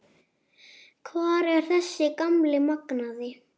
Hvar er þessi gamli magnaði?